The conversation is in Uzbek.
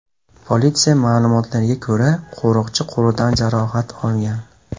Politsiya ma’lumotlariga ko‘ra, qo‘riqchi qo‘lidan jarohat olgan.